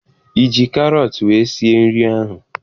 Ị ji karọt wee sie nri ahụ?